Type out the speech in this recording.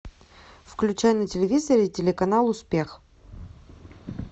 включай на телевизоре телеканал успех